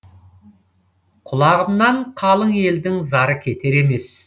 құлағымнан қалың елдің зары кетер емес